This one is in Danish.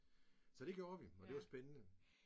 Så det gjorde vi og det var spændende